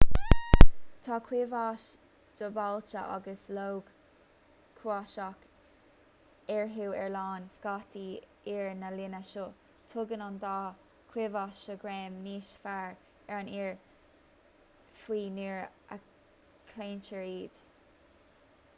tá ciumhais dhúbailte agus log cuasach eararthu ar lann scátaí oighir na linne seo tugann an dá chiumhais seo greim níos fearr ar an oighear fiú nuair a chlaontar iad